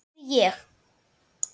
Og það geri ég.